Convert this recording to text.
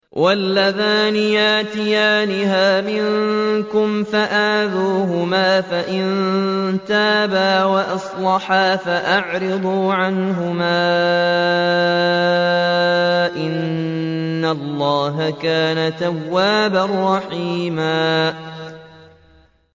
وَاللَّذَانِ يَأْتِيَانِهَا مِنكُمْ فَآذُوهُمَا ۖ فَإِن تَابَا وَأَصْلَحَا فَأَعْرِضُوا عَنْهُمَا ۗ إِنَّ اللَّهَ كَانَ تَوَّابًا رَّحِيمًا